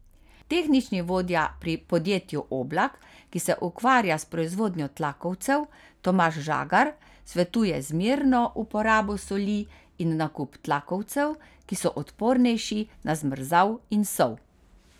Tehnični vodja pri podjetju Oblak, ki se ukvarja s proizvodnjo tlakovcev, Tomaž Žagar, svetuje zmerno uporabo soli in nakup tlakovcev, ki so odpornejši na zmrzal in sol.